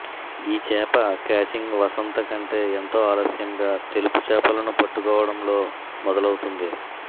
ఈ చేప కాచింగ్ వసంత కంటే ఎంతో ఆలస్యంగా తెలుపు చేపలను పట్టుకోవటంలో లో మొదలవుతుంది